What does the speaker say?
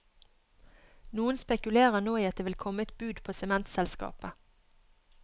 Noen spekulerer nå i at det vil komme et bud på sementselskapet.